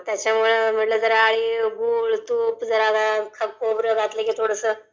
त्याच्यमुळे मग म्हटलं जरा अळीव, गुळ, तूप, खोबर घातलं की थोडसं